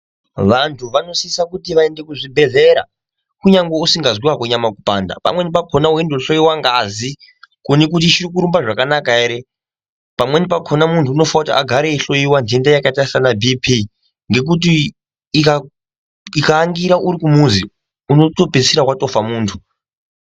Vantu vanosisa kuti vaende kuzvibhadhlera kunyangwe usingazwi hako nyama kupanda pamweni pakhona weindo hloiwa ngazi kuone kuti ichiri kurumba zvakanaka ere. Pamweni pakhona muntu unofane kuti agare eihloiwa jenda yakaita sana Bp ngekuti ika angira uri kumuzi unoto pedzisira watofa muntu.